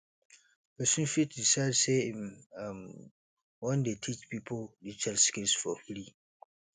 persin fit decide say im um won de teach pipo digital skills for free